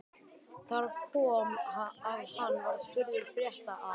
Þar kom að hann var spurður frétta af